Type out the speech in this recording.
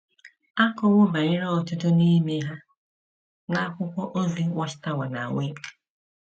A kọwo banyere ọtụtụ n’ime ha n'akwụkwọ ozi Watchtower na Awake!